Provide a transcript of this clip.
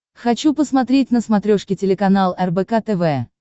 хочу посмотреть на смотрешке телеканал рбк тв